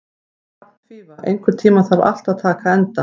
Hrafnfífa, einhvern tímann þarf allt að taka enda.